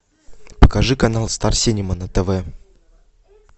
покажи канал старсинема на тв